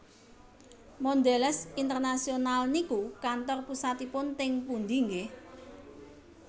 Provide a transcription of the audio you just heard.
Mondelez International niku kantor pusatipun teng pundi nggeh